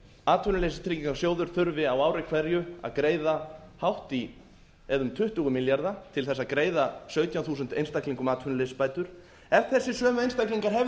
atvinnuleysistryggingasjóður þurfi á ári hverju að greiða hátt í eða um tuttugu milljarða til þess að greiða sautján þúsund einstaklingum atvinnuleysisbætur ef þessir sömu einstaklingar hefðu